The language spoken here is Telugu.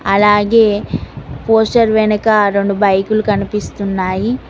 అలాగే పోస్టర్ వెనక రొండు బైకులు కనిపిస్తున్నాయి.